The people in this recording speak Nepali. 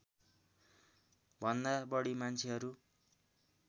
भन्दा बढी मान्छेहरू